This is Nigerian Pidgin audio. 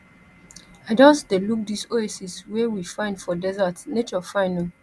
i just dey look dis oasis wey we find for desert nature fine o